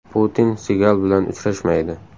Putin Sigal bilan uchrashmaydi.